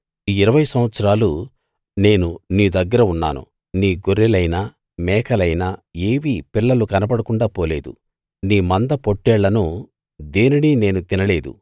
ఈ ఇరవై సంవత్సరాలూ నేను నీ దగ్గర ఉన్నాను నీ గొర్రెలైనా మేకలైనా ఏవీ పిల్లలు కనకుండా పోలేదు నీ మంద పొట్టేళ్ళను దేనినీ నేను తినలేదు